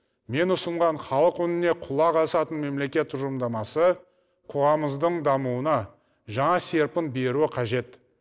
мен ұсынған халық үніне құлақ асатын мемлекет тұжырымдамасы қоғамымыздың дамуына жаңа серпін беруі қажет